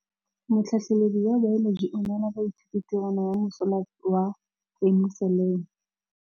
Motlhatlhaledi wa baeloji o neela baithuti tirwana ya mosola wa peniselene.